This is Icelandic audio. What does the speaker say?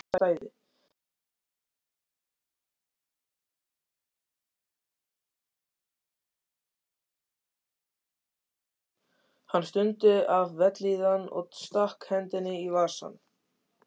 Hann stundi af vellíðan og stakk hendinni í vasann.